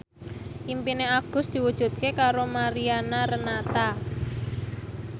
impine Agus diwujudke karo Mariana Renata